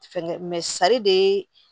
Fɛngɛ de ye